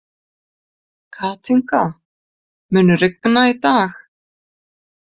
Kathinka, mun rigna í dag?